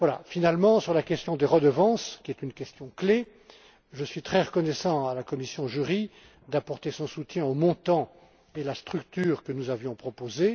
Finalement, sur la question des redevances qui est une question clé je suis très reconnaissant à la commission JURI d'apporter son soutien aux montants et à la structure que nous avions proposés.